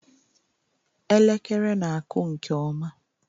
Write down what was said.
Elekere na-akụ nke ọma